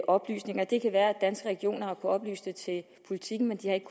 oplysninger det kan være at danske regioner har oplyse det til politiken men de har ikke